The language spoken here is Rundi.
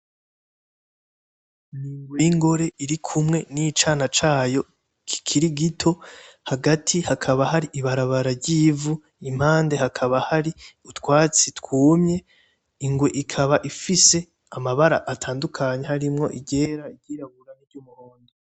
Ingwe y,Ingore irikumwe n'icana cayo kikiri gito hagati hakaba hari ibarabara ry,ivu impande hakaba hari utwatsi twumye ingwe ikaba ifise amabara atandukanye harimwo iry'era iry'irabura n,iryumuhondo .